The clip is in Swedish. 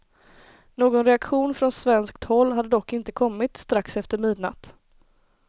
Någon reaktion från svenskt håll hade dock inte kommit strax efter midnatt.